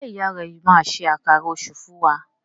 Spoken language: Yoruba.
Njé ìyá rẹ má ṣe Àkàrà Òṣú fún wá?